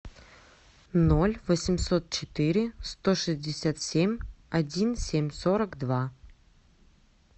ноль восемьсот четыре сто шестьдесят семь один семь сорок два